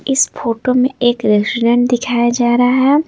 इस फोटो में एक रेसिडेंट दिखाया जा रहा है।